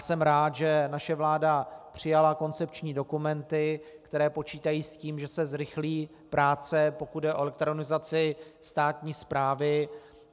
Jsem rád, že naše vláda přijala koncepční dokumenty, které počítají s tím, že se zrychlí práce, pokud jde o elektronizaci státní správy.